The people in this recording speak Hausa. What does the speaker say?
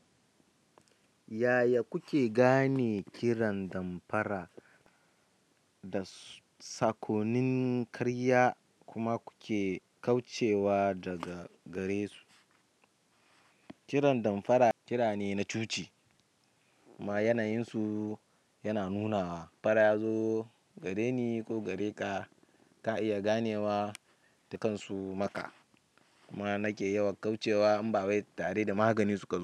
Yaya kuke gane kiran damfara da saƙonnin karya kuma kuke kaucewa daga gare su? Kiran damfara kira ne na cuci ma yanayin su yana nunawa farazo, gareni ko gare ka, ka iya ganewa ta kan su maka kuma nake yawan kaucewa in ba wai tare da magani suka zo.